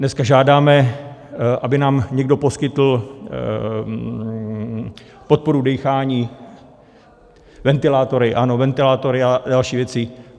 Dneska žádáme, aby nám někdo poskytl podporu dýchání ventilátory, ano ventilátory a další věci.